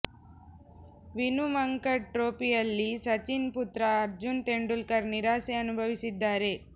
ವಿನು ಮಂಕಡ್ ಟ್ರೋಫಿಯಲ್ಲಿ ಸಚಿನ್ ಪುತ್ರ ಅರ್ಜುನ್ ತೆಂಡೂಲ್ಕರ್ ನಿರಾಸೆ ಅನುಭವಿಸಿದ್ದಾರೆ